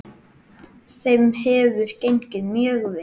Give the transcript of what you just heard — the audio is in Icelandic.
Þeim hefur gengið mjög vel.